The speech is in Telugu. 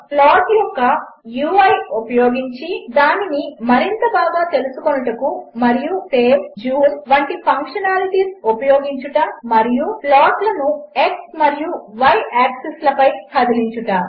ప్లాట్యొక్క యూఐ ఉపయోగించిదానినిమరింతబాగాతెలుసుకొనుటమరియుసేవ్ జూంవంటిఫంక్షనాలిటీస్ఉపయోగించుటమరియుప్లాట్లను x మరియు y యాక్సిస్లపైకదిలించుట